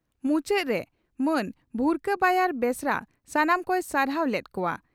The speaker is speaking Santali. ᱢᱩᱪᱟᱹᱫᱽ ᱨᱮ ᱢᱟᱱ ᱵᱷᱩᱨᱠᱟᱹ ᱵᱟᱭᱟᱨ ᱵᱮᱥᱨᱟ ᱥᱟᱱᱟᱢ ᱠᱚᱭ ᱥᱟᱨᱦᱟᱣ ᱞᱮᱫ ᱠᱚᱣᱟ ᱾